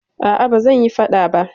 Aa, ba zanyi faɗa ba